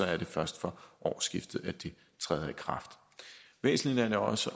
er det først fra årsskiftet at det træder i kraft væsentligt er det også